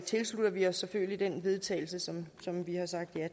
tilslutter vi os selvfølgelig det forslag vedtagelse som vi har sagt ja